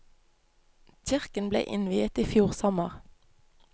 Kirken ble innviet i fjor sommer.